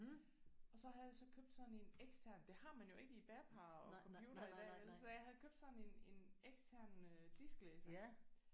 Og så havde jeg så købt sådan en ekstern det har man jo ikke i bærbare og computere i dag vel? Så jeg havde købt sådan en en ekstern øh disklæser